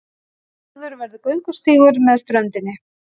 Lagður verði göngustígur með ströndinni